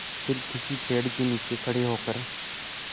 फिर किसी पेड़ के नीचे खड़े होकर